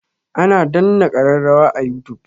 Ana danna kararrawa a youtube.